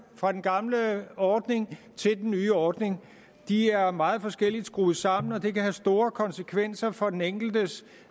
fra den gamle ordning til den nye ordning de er meget forskelligt skruet sammen og det kan have store konsekvenser for den enkeltes